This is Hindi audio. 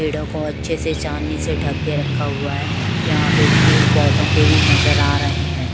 पेड़ों को अच्छे से चांदनी से ढक के रखा हुआ है यहाँ पे फूल पौधों के भी नजर आ रहे हैं।